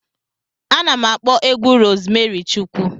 Ana m akpọ egwu Rozmari Chukwu.